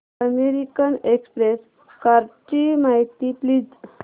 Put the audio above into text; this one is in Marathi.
अमेरिकन एक्सप्रेस कार्डची माहिती दे प्लीज